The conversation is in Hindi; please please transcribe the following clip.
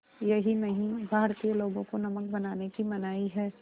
यही नहीं भारतीय लोगों को नमक बनाने की मनाही है